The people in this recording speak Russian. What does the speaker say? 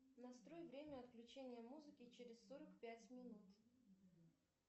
настрой время отключения музыки через сорок пять минут